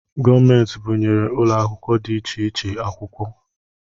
Gọọmenti bunyere ụlọ akwụkwọ dị iche iche akwukwọ